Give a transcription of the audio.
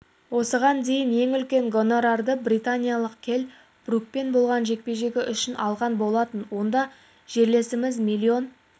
осыған дейін ең үлкен гонорарды британиялық келл брукпен болған жекпе-жегі үшін алған болатын онда жерлесіміз миллион